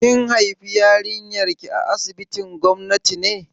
Kin haifi yarinyar ki a asibitin gwamnati ne?